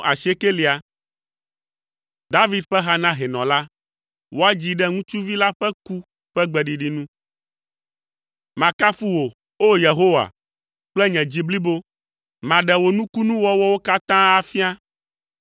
David ƒe ha na hɛnɔ la. Woadzii ɖe “ŋutsuvi la ƒe ku” ƒe gbeɖiɖi nu. Makafu wò, O! Yehowa, kple nye dzi blibo, maɖe wò nukunuwɔwɔwo katã afia.